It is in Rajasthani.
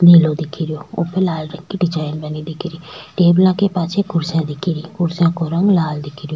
नीलो दिखरयो ऊपर लाल रंग की डिजाइन बनी दिखेरी टेबला के पाछे कुर्सियां दिखेरी कुर्सियां को रंग लाल दिखरयो।